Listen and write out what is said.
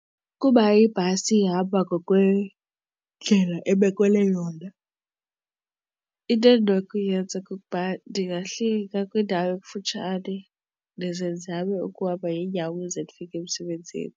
Ukuba ibhasi ihamba ngokwendlela ebekelwe yona into endinokuyenza kukuba ndingafika kwindawo ekufutshane ndize ndizame ukuhamba ngeenyawo ukuze ndifike emsebenzini.